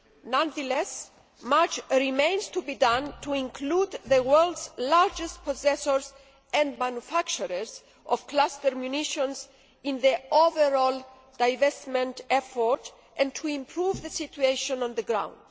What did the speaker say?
Nonetheless, much remains to be done to include the world's largest possessors and manufacturers of cluster munitions in the overall divestment effort and to improve the situation on the ground.